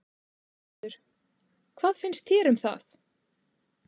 Þórhildur: Hvað finnst þér um það?